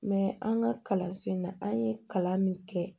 an ka kalanso in na an ye kalan min kɛ